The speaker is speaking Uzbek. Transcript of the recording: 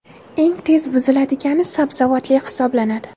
Eng tez buziladigani sabzavotli hisoblanadi.